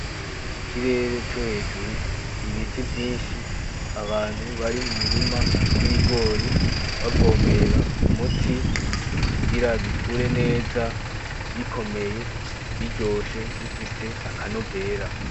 Ikirere co hejuru ibiti vyinshi abantu bari mu mirirma y'ibigori bavomerera umuti kugira bikure neza bikomeye, biryoshe bifise akanovera.